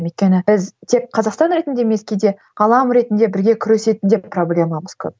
өйткені біз тек қазақстан ретінде емес кейде ғалам ретінде бірге күресетін де проблемамыз көп